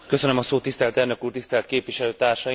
Tisztelt elnök úr, tisztelt képviselőtársaim!